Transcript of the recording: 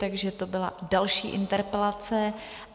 Takže to byla další interpelace.